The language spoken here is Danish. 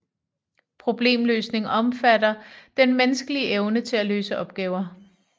Problemløsning omfatter den menneskelige evne til at løse opgaver